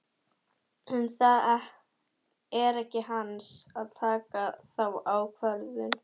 En það er ekki hans að taka þá ákvörðun.